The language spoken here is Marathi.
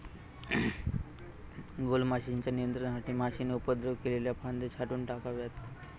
गॊलमाशीच्या नियंत्रणासाठी माशीने उपद्रव केलेल्या फांद्या छाटून टाकाव्यात.